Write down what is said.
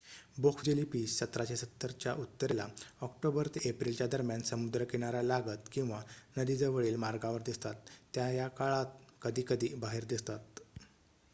Box jellyfish १७७० च्या उत्तरेला October ते एप्रिलच्या दरम्यान समुद्र किनाऱ्यालागत किंवा नदीजवळील मार्गावर दिसतात. त्या या काळात कधीकधी बाहेत दिसतात